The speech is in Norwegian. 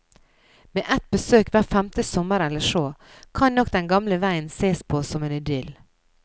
Med et besøk hver femte sommer eller så, kan nok den gamle veien sees på som en idyll.